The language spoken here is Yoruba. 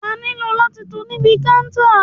Wà nílò láti tò níbi kántà.